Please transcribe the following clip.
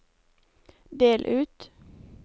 del ut